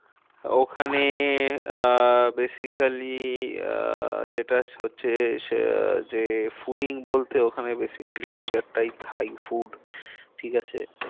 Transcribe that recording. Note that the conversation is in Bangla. ওখানে আহ basically আহ যেটা হচ্ছে আহ যে fooding বলতে ওখানে basically নিজেরটা thai food ঠিক আছে।